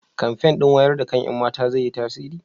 kamfen ɗin wayar da kan ƴan mata zai yi tasiri?